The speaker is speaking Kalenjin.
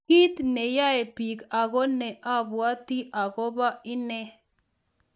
"Kit ne yoe biik, ago ne ibwotyin agobo ine."